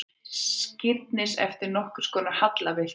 Skírnis eftir nokkurskonar hallarbyltingu.